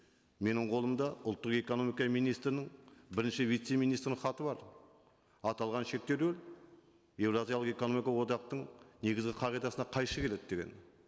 менің қолымда ұлттық экономика министрінің бірінші вице министрінің хаты бар аталған шектеулер еуразиялық экономика одақтың негізгі қағидасына қайшы келеді деген